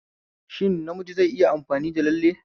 Shin namiji zai iya amfani da lalle?